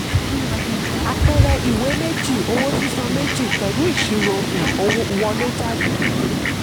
àpẹẹrẹ ìwé méjì: owó sísan méjì plus ìṣirò um wọlé/jáde.